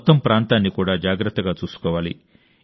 మొత్తం ప్రాంతాన్ని కూడా జాగ్రత్తగా చూసుకోవాలి